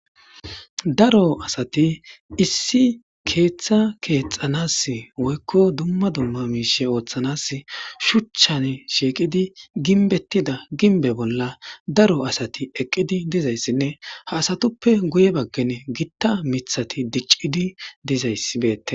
Daro asati issi keeththa keexxanas woykko dumma dumma miishshe ooththanas shuchchan shiiqidi gimbbetida gimbbe bolla daro asati eqqidi dizayssinne ha asatuppe guye baggen gitta miththati diccidi dizayssi beettes.